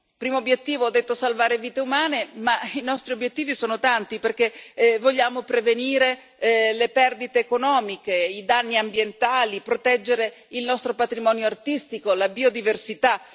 Primo obiettivo ho detto salvare vite umane, ma i nostri obiettivi sono tanti perché vogliamo prevenire le perdite economiche, i danni ambientali, proteggere il nostro patrimonio artistico, la biodiversità.